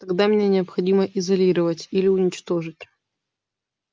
тогда меня необходимо изолировать или уничтожить